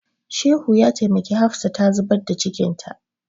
Shehu ya taimaki Hafsa ta zubar da cikinta.